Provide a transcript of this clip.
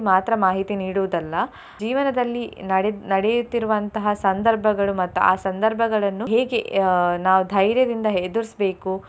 ಮಾತ್ರ ಮಾಹಿತಿ ನೀಡುವುದಲ್ಲ ಜೀವನದಲ್ಲಿ ನಡೆ~ ನಡೆಯುತ್ತಿರುವಂತಹ ಸಂದರ್ಭಗಳು ಮತ್ತು ಆ ಸಂದರ್ಭಗಳನ್ನು ಹೇಗೆ ಅಹ್ ನಾವು ಧೈರ್ಯದಿಂದ ಎದುರ್ಸ್ಬೇಕು.